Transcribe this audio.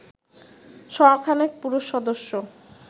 শ খানেক পুরুষ সদস্য